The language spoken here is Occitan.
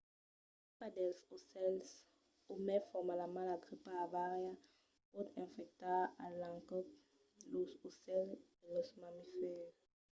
la gripa dels aucèls o mai formalament la gripa aviària pòt infectar a l’encòp los aucèls e los mamifèrs